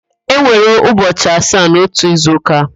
E nwere ụbọchị asaa n'ótù izuụ́kà.